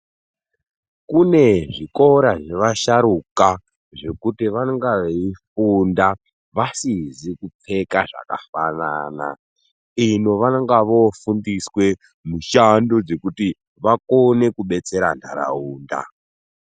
Kune zvikora zvevasharuka zvekuti vanonga veifunda vasizi kupfeka zvakafanana. Ino vanonga vofundiswa mishando dzekuti vakone kubetsera nharaunda.